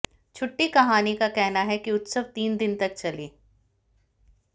छुट्टी कहानी का कहना है कि उत्सव तीन दिन तक चली